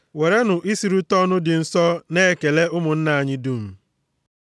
Werenụ isurita ọnụ dị nsọ na-ekele ụmụnna anyị dum.